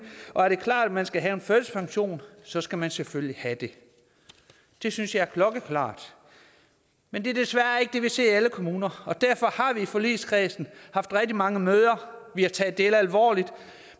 og det står klart at man skal have en førtidspension så skal man selvfølgelig have det det synes jeg er klokkeklart men det er desværre ikke det vi ser i alle kommuner og derfor har vi i forligskredsen haft rigtig mange møder og taget det alvorligt